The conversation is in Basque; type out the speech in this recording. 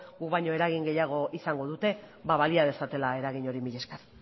guk baino eragin gehiago izango dute ba balia dezatela eragin hori mila esker